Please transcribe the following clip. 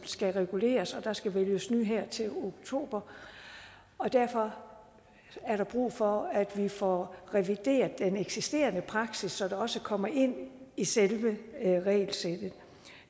skal reguleres der skal vælges nye her til oktober og derfor er der brug for at vi får revideret den eksisterende praksis så det også kommer ind i selve regelsættet